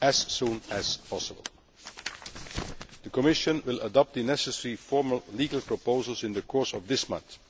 as soon as possible. The Commission will adopt the necessary formal legal proposals in the course of this month.